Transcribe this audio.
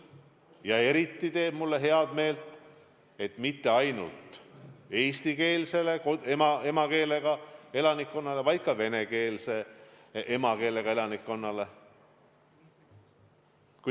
Ja eriti teeb mulle heameelt, et nad on silmas pidanud mitte ainult eestikeelse emakeelega elanikkonda, vaid ka venekeelse emakeelega elanikkonda.